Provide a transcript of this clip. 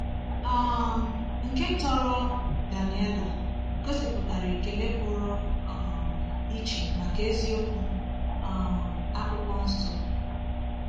um Nke tọrọ, Daniela, gosipụtara ekele pụrụ um iche maka eziokwu um Akwụkwọ Nsọ.